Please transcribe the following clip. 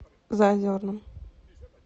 заозерном